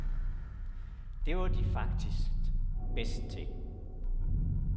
Det var de faktisk bedst til.